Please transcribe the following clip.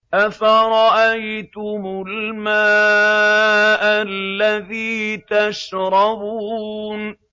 أَفَرَأَيْتُمُ الْمَاءَ الَّذِي تَشْرَبُونَ